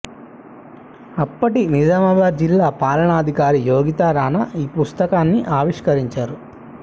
అప్పటి నిజామాబాద్ జిల్లా పాలనాధికారి యోగితా రాణా ఈ పుస్తకాన్ని ఆవిష్కరించారు